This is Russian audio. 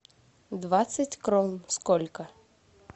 двадцать крон сколько